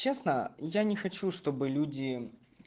честно я не хочу чтобы люди